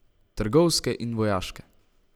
Trgovske in vojaške.